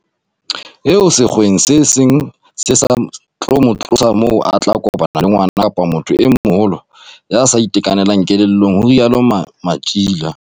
"eo sekgeong se seng se sa tlo mo tlosa moo a tla kopana le ngwana kapa motho e moholo ya sa itekanelang kelellong," ho rialo Matjila.